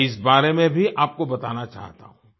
मैं इस बारे में भी आपको बताना चाहता हूँ